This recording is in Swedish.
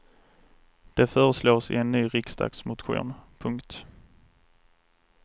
Det föreslås i en ny riksdagsmotion. punkt